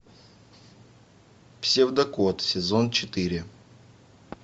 псевдокот сезон четыре